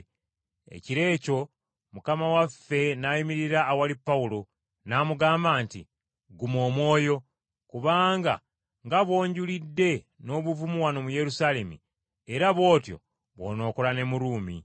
Ekiro ekyo Mukama waffe n’ayimirira awali Pawulo, n’amugamba nti, “Guma omwoyo, kubanga nga bw’onjulidde n’obuvumu wano mu Yerusaalemi, era bw’otyo bw’onookola ne mu Ruumi.”